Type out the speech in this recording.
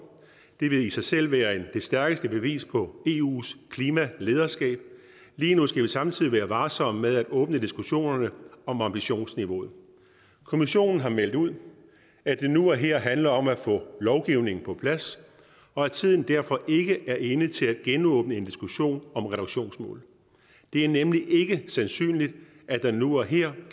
det vil i sig selv være det stærkeste bevis på eus klimalederskab lige nu skal vi samtidig være varsomme med at åbne diskussionerne om ambitionsniveauet kommissionen har meldt ud at det nu og her handler om at få lovgivningen på plads og at tiden derfor ikke er inde til at genåbne en diskussion om reduktionsmålet det er nemlig ikke sandsynligt at der nu og her